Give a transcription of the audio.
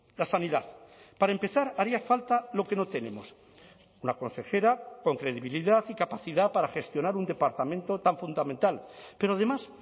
la sanidad para empezar haría falta lo que no tenemos una consejera con credibilidad y capacidad para gestionar un departamento tan fundamental pero además